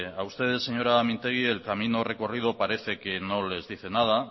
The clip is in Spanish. a usted señora mintegi el camino recorrido parece que no les dice nada